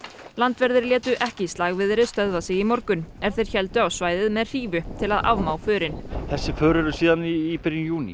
landverðir létu ekki slagviðri stöðva sig í morgun er þeir héldu á svæðið með hrífu til að afmá förin þessi för eru síðan í byrjun júní